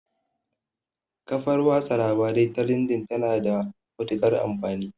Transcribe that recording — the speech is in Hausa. Kafar watsa labarai ta lindin ta na da matuƙar amfani